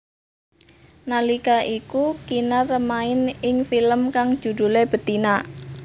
Nalika iku Kinar main ing film kang judhulé Betina